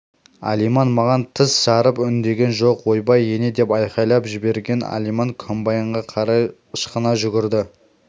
алиман маған тіс жарып үндеген жоқ ойбай ене деп айқайлап жіберген алиман комбайнға қарай ышқына жүгірді